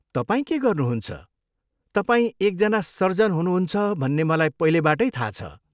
तपाईँ के गर्नुहुन्छ, तपाईं एकजना सर्जन हुनुहुन्छ भन्ने मलाई पहिलेबाटै थाहा छ।